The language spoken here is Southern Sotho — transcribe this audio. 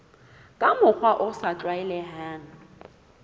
ka mokgwa o sa tlwaelehang